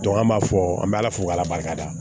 an b'a fɔ an bɛ ala fo k'ala barika da